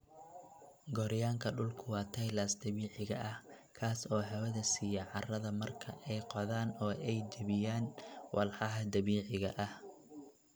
Gooryaanka dhulku waa tillers dabiiciga ah, kaas oo hawada siiya carrada marka ay qodaan oo ay jebiyaan walxaha dabiiciga ah.